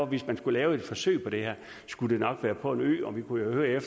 hvis man skulle lave et forsøg med det her skulle det nok være på en ø og vi kunne jo høre